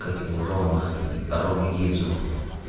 как его рома рома гидзу